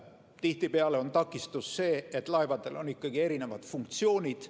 Tihtipeale on takistus see, et laevadel on ikkagi erinevad funktsioonid.